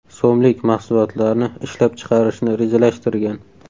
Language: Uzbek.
so‘mlik mahsulotlarni ishlab chiqarishni rejalashtirgan.